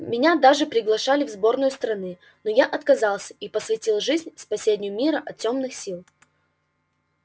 меня даже приглашали в сборную страны но я отказался и посвятил жизнь спасению мира от тёмных сил